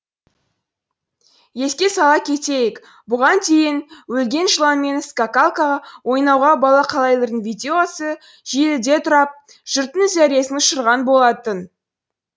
еске сала кетейік бұған дейін өлген жыланмен скакалка ойнаған балақайлардың видеосы желіде тарап жұрттың зәресін ұшырған болатын